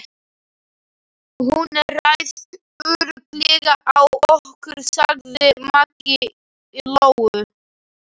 Hún ræðst örugglega á okkur, sagði Maggi Lóu.